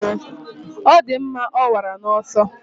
Ọ dị mma, ọ nwara n'ọsọ.